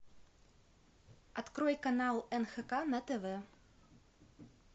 открой канал нхк на тв